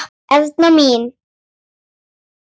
Erna mín.